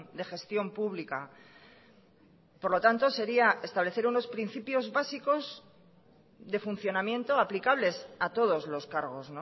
de gestión pública por lo tanto sería establecer unos principios básicos de funcionamiento aplicables a todos los cargos